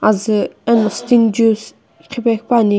azü eno sting juice qhepe qhepuani.